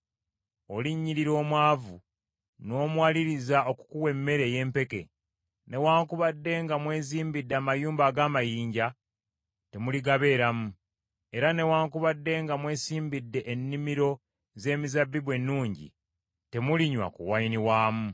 Olinnyirira omwavu, n’omuwaliriza okukuwa emmere ey’empeke. Newaakubadde nga mwezimbidde amayumba ag’amayinja, temuligabeeramu; era newaakubadde nga mwesimbidde ennimiro z’emizabbibu ennungi, temulinywa ku wayini waamu.